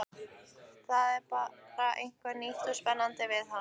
Það var bara eitthvað nýtt og spennandi við hann.